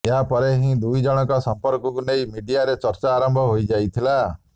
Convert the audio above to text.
ଏହା ପରେ ହିଁ ଦୁଇଜଣଙ୍କ ସଂପର୍କକୁ ନେଇ ମିଡିୟା ରେ ଚର୍ଚ୍ଚା ଆରମ୍ଭ ହୋଇଯାଇଥିଲା